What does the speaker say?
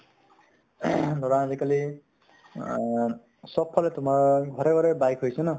ধৰা আজিকালি আ চব ফালে তোমাৰ, ঘৰে ঘৰে bike হৈছে ন ?